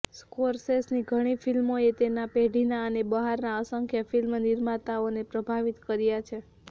સ્કોરસેસની ઘણી ફિલ્મોએ તેના પેઢીના અને બહારના અસંખ્ય ફિલ્મ નિર્માતાઓને પ્રભાવિત કર્યા છે